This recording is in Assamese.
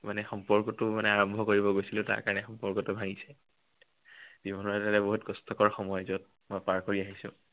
মানে সম্পৰ্কটো মানে আৰম্ভ কৰিব গৈছিলো, তাৰ কাৰনে সম্পৰ্কটো ভাঙিছো। জীৱনৰ আটাইতকৈ বহুত কষ্টকৰ সময়, যত মই পাৰ কৰি আহিছো।